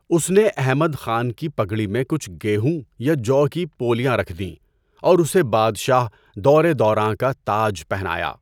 اس نے احمد خان کی پگڑی میں کچھ گیہوں یا جو کی پولیاں رکھ دیں اور اسے بادشاہ، دورِ دوراں کا تاج پہنایا۔